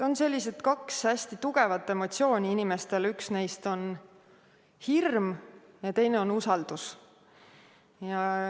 Inimestel on kaks hästi tugevat emotsiooni: üks neist on hirm ja teine on usaldus.